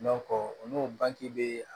o n'o banke